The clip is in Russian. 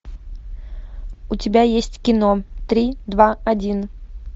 у тебя есть кино три два один